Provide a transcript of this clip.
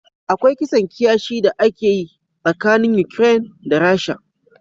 Akwai kisan kiyashi da ake yi tsakanin Ukraine da Rasha.